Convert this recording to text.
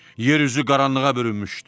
Yer üzü qaranlığa bürünmüşdü.